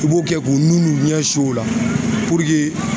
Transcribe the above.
I b'o kɛ k'u nun n'u ɲɛ su o la